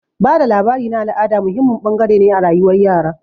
Ba da labari na al'ada muhimmin bangare ne a rayuwar yara.